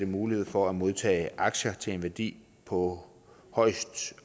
mulighed for at modtage aktier til en værdi på